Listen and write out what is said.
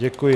Děkuji.